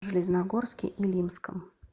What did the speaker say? железногорске илимском